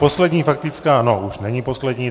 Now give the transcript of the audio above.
Poslední faktická - no už není poslední.